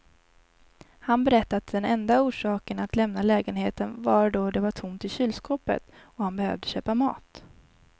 Han berättade att den enda orsaken att lämna lägenheten var då det var tomt i kylskåpet och han behövde köpa mat.